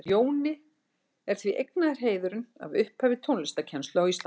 Jóni er því eignaður heiðurinn að upphafi tónlistarkennslu á Íslandi.